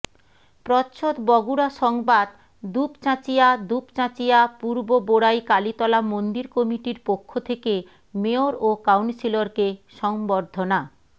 প্রচ্ছদ বগুড়া সংবাদ দুপচাচিঁয়া দুপচাঁচিয়া পূর্ববোরাই কালিতলা মন্দির কমিটির পক্ষ থেকে মেয়র ও কাউন্সিলরকে সংবর্ধনা